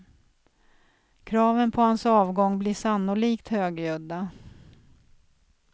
Kraven på hans avgång blir sannolikt högljudda.